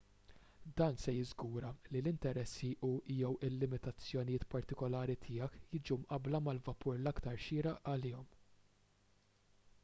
dan se jiżgura li l-interessi u/jew il-limitazzjonijiet partikulari tiegħek jiġu mqabbla mal-vapur l-aktar xieraq għalihom